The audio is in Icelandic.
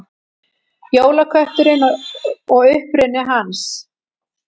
Jólakötturinn og uppruni hans.